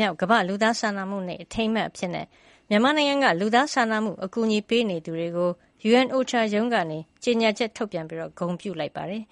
မြောက် ကမ္ဘာ့လူသားစာနာမှုနေ့ အထိန်းအမှတ်အဖြစ် မြန်မာနိုင်ငံက လူသာစာနာမှုအကူညီပေးနေသူတွေကို UNOCHA ရုံးကကြေညာချက်ထုတ်ပြန် ဂုဏ်ပြုလိုက်ပါတယ်